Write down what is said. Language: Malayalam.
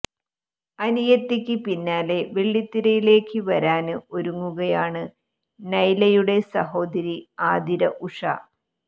അനിയത്തിക്ക് പിന്നാലെ വെള്ളിത്തിരയിലേക്ക് വരാന് ഒരുങ്ങുകയാണ് നൈലയുടെ സഹോദരി ആതിര ഉഷ